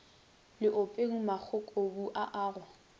leopeng magokobu a a go